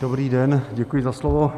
Dobrý den, děkuji za slovo.